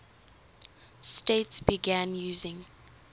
states began using